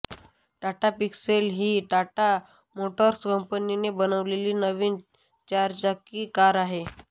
Tata pixel ही Tata motors कंपनीने बनवलेली नवीन चारचाकी कार आहे